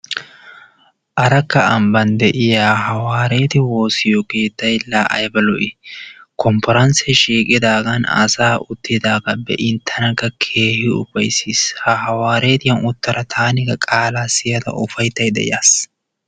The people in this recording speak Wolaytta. Arakka ambban de'iya hawaariyatte woosiyo keettay laa aybba lo'ii. Kompporansee shiiqidaagan asaa uttidaagaa be'iin tanakka keehii ufaysiis. I Ha hawaariyan uttada taanikka qaalaa siyada ufayttaydda yaasi.